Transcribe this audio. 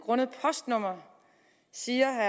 grundet postnummer siger